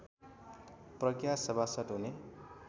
प्रज्ञा सभासद हुने